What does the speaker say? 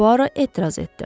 Puaro etiraz etdi.